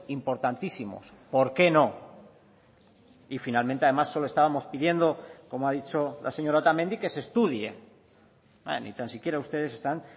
importantísimos por qué no y finalmente además solo estábamos pidiendo como ha dicho la señora otamendi que se estudie ni tan siquiera ustedes están